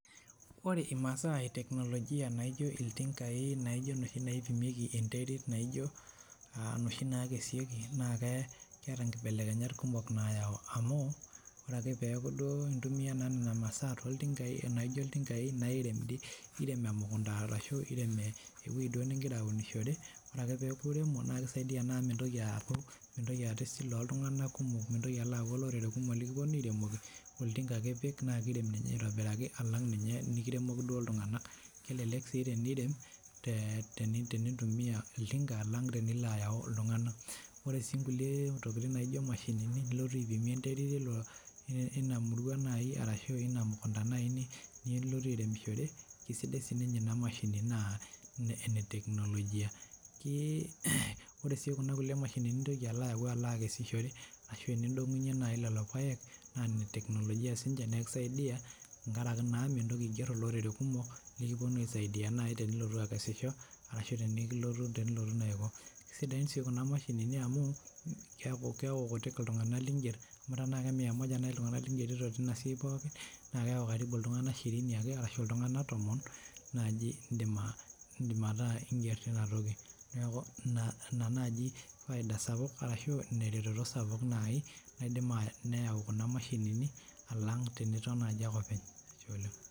Ore imasaa e teknolojia naijo iltinkai naijo inoshi naipimieki enterit naijo uh inoshi nakesieki naake keeta inkibelekenyat kumok nayau amu ore ake peeku duo intumia duo naa nana masaa toltinkai enaijo iltinkai nairem dii nirem emukunta arashu irem ewueji duo ningira aunishore ore peeku iremo naa kisaidia naa amu mintoki aaku mintoki aata esile oltung'anak kumok mintoki alo aku olorere kumok likiponu airemoki oltinka ake ipik naa kirem ninye aitobiraki alang ninye enikiremoki duo iltung'anak kelelek sii tenirem te tenintumia oltinka alang tenilo ayau iltung'anak ore sii inkulie tokiting naijo imashinini nilotu aipimie enterit ilo ina murua naaji arashu ina mukunta naaji ni nilotu airemishore kisidai sininye ina mashini naa ene teknolojia ki ore sii kuna kulie mashinini nintoki alo ayau alo akesishore ashu enindong'unyie naaji lelo payek naa ine teknolojia sinche naa ekisaidia enkarake naa mintoki aigerr olorere kumok likiponu aisaidia naaji tenilotu akesisho arashu tenikilotu tenilotu naa aiko kisidain sii kuna mashinini amu keeku kutik iltung'anak lingerr amu tenaa ke mia moja naaji iltung'anak lingerito tina siai pookin naa keeku karibu iltung'anak shirini ake arashu iltung'anak tomon naaji indim aindim aa ataa ingerr tinatoki neeku ina naaji faida sapuk arashu ina ereteto sapuk naaji naidim neyau kuna mashinini alang teniton naaji ake openy ashe oleng.